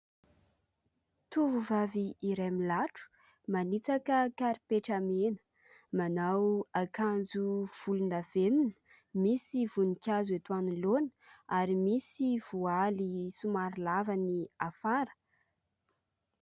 Tovovavy iray milatro manitsaka karipetra mena. Manao akanjo volondavenona misy voninkazo eto anoloana ary misy voaly somary lava ny afara.